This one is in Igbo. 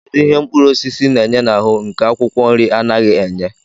Kedụ ihe mkpụrụosisi na-enye n'ahụ nke akwụkwọ nri anaghị enye?